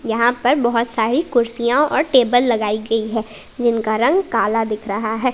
यहां पर बहुत सारी कुर्सियां और टेबल लगाई गई है जिनका रंग काला दिख रहा है।